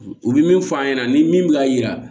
U bɛ min fɔ an ɲɛna ni min bɛ ka yira